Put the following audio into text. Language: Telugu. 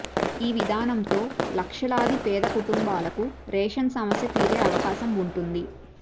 ఈ విధానంతో లక్షలాది పేద కుటుంబాలకు రేషన్ సమస్య తీరే అవకాశం ఉంటుంది